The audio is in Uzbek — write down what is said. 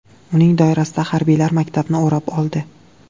Uning doirasida harbiylar maktabni o‘rab oldi.